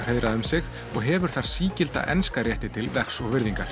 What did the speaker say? hreiðrað um sig og hefur þar sígilda enska rétti til vegs og virðingar